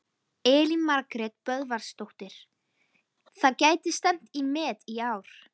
Elín Margrét Böðvarsdóttir: Það gæti stefnt í met í ár?